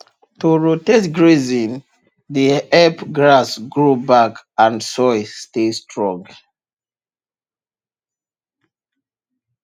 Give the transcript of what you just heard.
to rotate grazing dey help grass grow back and soil stay strong